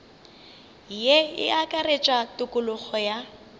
ye e akaretša tokologo ya